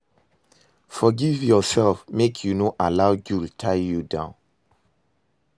Forgive urself mek yu no allow guilt tie you down